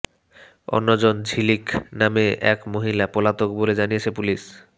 অন্য জন ঝিলিক নামে এক মহিলা পলাতক বলে জানিয়েছে পুলিশ